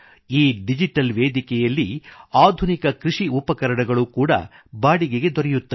ಈ ಡಿಜಿಟಲ್ ವೇದಿಕೆಯಲ್ಲಿ ಆಧುನಿಕ ಕೃಷಿ ಉಪಕರಣಗಳು ಕೂಡಾ ಬಾಡಿಗೆಗೆ ದೊರೆಯುತ್ತವೆ